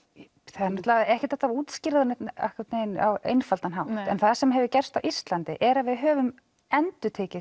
það er ekkert hægt að útskýra það á einfaldan hátt en það sem hefur gerst á Íslandi er að við höfum endurtekið